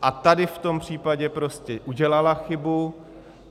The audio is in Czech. A tady v tom případě prostě udělala chybu.